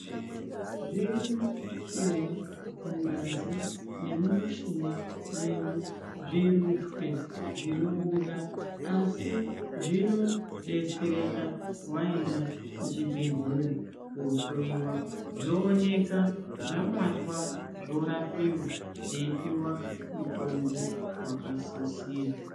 Zvirimo eya mungazi nemumishuna medu zvirutwe zvinobuda asi zvinodetsereka waenda kuchibhehlera kohloyiwa zvooneka zvabatwa zvorapiwa zveipiwa mutombo wakasisira.